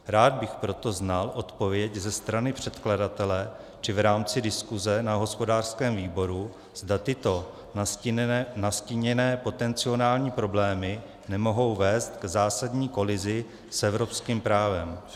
Rád bych proto znal odpověď ze strany předkladatele či v rámci diskuse na hospodářském výboru, zda tyto nastíněné potenciální problémy nemohou vést k zásadní kolizi s evropským právem.